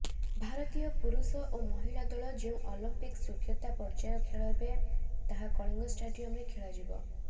ଭାରତୀୟ ପୁରୁଷ ଓ ମହିଳା ଦଳ ଯେଉଁ ଅଲିମ୍ପିକ୍ସ ଯୋଗ୍ୟତା ପର୍ଯ୍ୟାୟ ଖେଳିବେ ତାହା କଳିଙ୍ଗ ଷ୍ଟାଡିୟମରେ ଖେଳାଯିବ